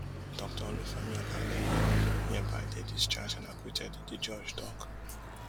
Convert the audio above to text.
dr olufemi olaleye hereby dey discharged and acquitted di judge tok